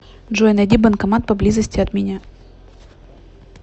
джой найди банкомат поблизости от меня